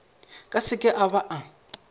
ka seke a ba a